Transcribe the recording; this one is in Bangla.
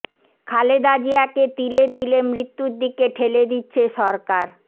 খালেদা জিয়াকে তিলে তিলে মৃত্যুর দিকে ঠেলে দিচ্ছে সরকার